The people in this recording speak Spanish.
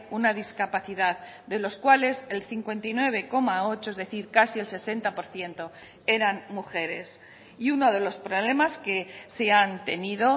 una discapacidad de los cuales el cincuenta y nueve coma ocho es decir casi el sesenta por ciento eran mujeres y uno de los problemas que se han tenido